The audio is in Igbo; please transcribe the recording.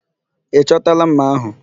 Ị chọtala ḿmà ahụ?